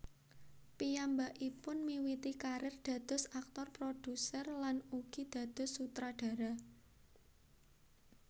Piyambakipun miwiti karir dados aktor produser lan ugi dados sutradara